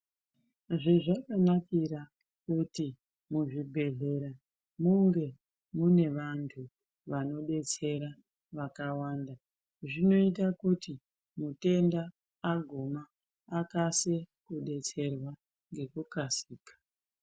Zvezvakanakira kuti muzvibhedhlera munge mune vantu vanodetsera vakawanda zvinoita kuti mutenda aguma akase kudetserwa ngokukasira.